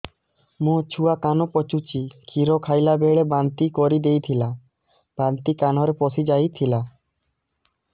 ମୋ ଛୁଆ କାନ ପଚୁଛି କ୍ଷୀର ଖାଇଲାବେଳେ ବାନ୍ତି କରି ଦେଇଥିଲା ବାନ୍ତି କାନରେ ପଶିଯାଇ ଥିଲା